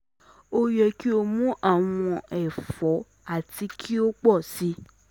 O yẹ ki o mu awọn ẹfọ ati ki o pọ si